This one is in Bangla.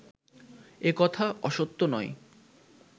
একথা অসত্য নয়